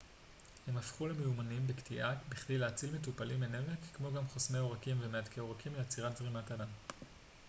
הם הפכו למיומנים בקטיעה בכדי להציל מטופלים מנמק כמו גם חוסמי עורקים ומהדקי עורקים לעצירת זרימת הדם